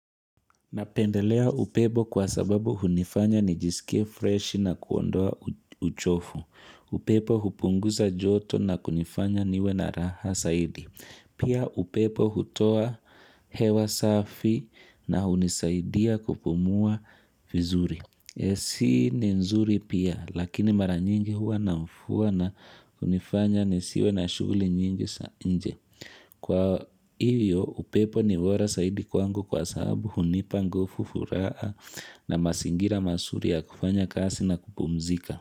Napendelea upepo kwa sababu hunifanya ni jisikie freshi na kuondoa uchovu. Upepo hupunguza joto na kunifanya niwe na raha zaidi. Pia upepo hutoa hewa safi na hunisaidia kupumua vizuri. Si ni nzuri pia, lakini mara nyingi huwa namfuwa na hunifanya nisiwe na shughuli nyingi za nje. Kwa hivyo, upepo ni bora zaidi kwangu kwa sababu hunipa nguvu, furaha na mazingira mazuri ya kufanya kazi na kupumzika.